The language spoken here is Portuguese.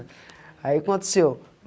Aí aconteceu.